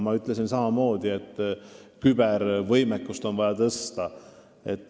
Ma ütlesin samamoodi, et kübervõimekust on vaja tõsta.